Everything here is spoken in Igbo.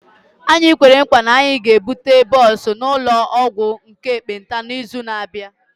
Anyị kwere nkwa na anyị ga-ebute bọs n'ụlọ ọgwụ ndị ekpenta n'izu na-abịa